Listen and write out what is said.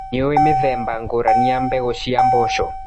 Nĩũĩ mĩthemba ngũrani ya mbegũ cia mboco.